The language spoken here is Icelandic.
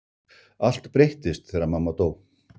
Allt breyttist þegar mamma dó.